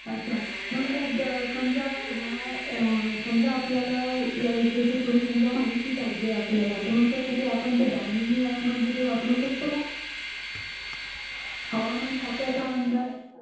अच्छा मग समजा या समजा आपल्याला या विषयाची थोडी समजा माहिती पाहिजे आपल्याला तर जसं कि आपण ती दामिनी ऍप म्हणते ती वापरू शकतो का? हवामान खात्याचा अंदाज?